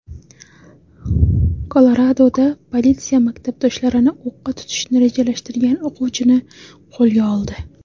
Koloradoda politsiya maktabdoshlarini o‘qqa tutishni rejalashtirgan o‘quvchini qo‘lga oldi.